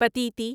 Pateti